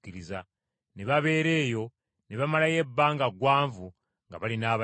Ne babeera eyo ne bamalayo ebbanga ggwanvu nga bali n’abayigirizwa.